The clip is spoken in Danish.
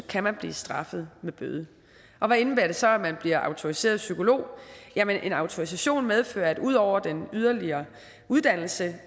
kan man blive straffet med bøde hvad indebærer det så at man bliver autoriseret psykolog en autorisation medfører at ud over den yderligere uddannelse